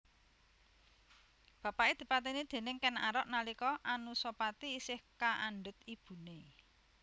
Bapaké dipatèni déning Kèn Arok nalika Anusapati isih kaandhut ibuné